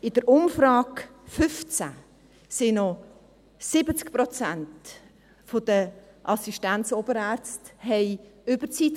In der Umfrage 2015 machten noch 70 Prozent der Assistenz- und Oberärzte Überzeit;